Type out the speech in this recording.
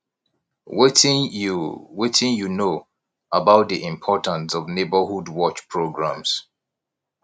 wetin you wetin you know about di importance of neighborhood watch programs